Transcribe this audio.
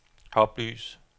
oplys